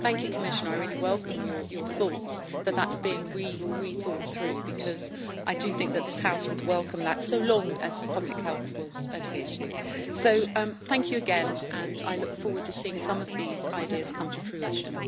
So thank you, Commissioner, I really welcome your thoughts that that is being rethought through, because I do think that this House would welcome that so long as public health was adhered to. So thank you again and I look forward to seeing some of these ideas come to fruition.